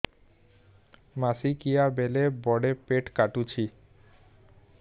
ମାସିକିଆ ବେଳେ ବଡେ ପେଟ କାଟୁଚି